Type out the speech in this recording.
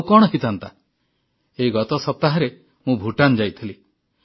ଆଉ କଣ ହୋଇଥାନ୍ତା ଏଇ ଗତ ସପ୍ତାହରେ ମୁଁ ଭୁଟାନ ଯାଇଥିଲି